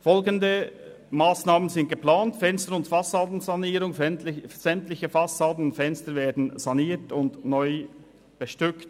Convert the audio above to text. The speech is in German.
Folgende Massnahmen sind geplant: Fenster- und Fassendensanierung – sämtliche Fassaden und Fenster werden saniert und neu bestückt;